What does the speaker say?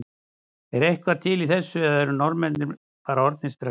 Er eitthvað til í þessu eða eru Norðmenn bara orðnir stressaðir?